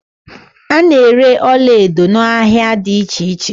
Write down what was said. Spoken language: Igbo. A na-ere ọlaedo n'ahia dị iche iche.